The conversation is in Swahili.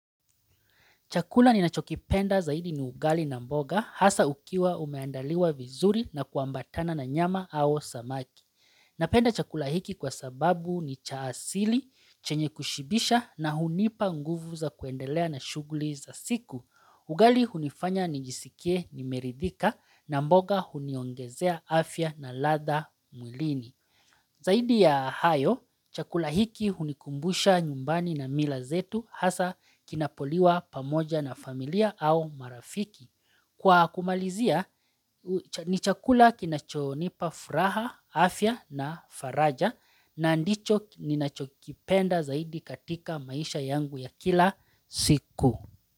Chakula ni nachokipenda zaidi ni ugali na mboga hasa ukiwa umeandaliwa vizuri na kuambatana na nyama au samaki. Napenda chakula hiki kwa sababu ni cha asili, chenye kushibisha na hunipa nguvu za kuendelea na shuguli za siku. Ugali hunifanya ni jisikie nimeridhika na mboga huniongezea afya na latha mulini. Zaidi ya hayo, chakula hiki unikumbusha nyumbani na mila zetu hasa kinapoliwa pamoja na familia au marafiki. Kwa kumalizia, ni chakula kinachonipa furaha, afya na faraja na dicho ninachokipenda zaidi katika maisha yangu ya kila siku.